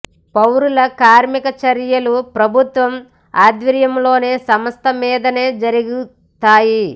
పౌరుల కార్మిక చర్యలు ప్రభుత్వ ఆధ్వర్యంలోని సంస్థ మీదనే జరుగుతాయి